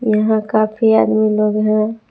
यहां काफी आदमी लोग हैं।